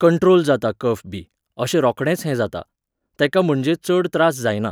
control जाता कफ बी, अशें रोखडेंच हें जाता, तेका म्हणजे चड त्रास जायना